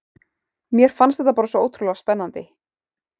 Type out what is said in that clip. Mér fannst þetta bara svo ótrúlega spennandi.